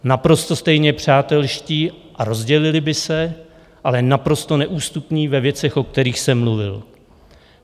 Naprosto stejně přátelští a rozdělili by se, ale naprosto neústupní ve věcech, o kterých jsem mluvil.